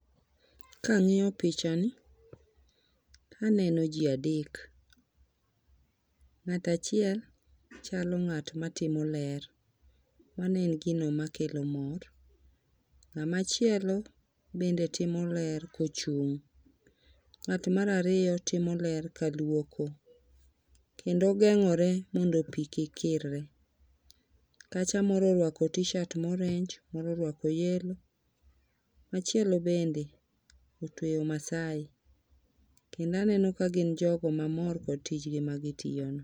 Kang'iyo pichano taneno ji adek, ng'ato achiel chalo ngat matimo ler, mano en gino matimo ler, ng'ama chielo bende timo ler kochung',ng'at marariyo timo ler kaluoko kendo ogengore mondo pi kik kirre, kacha moro oruako tshirt morange moro oruako yellow machielo bende otueyo maasai kendo aneno ka gin jogo mamor kod tijni magi timono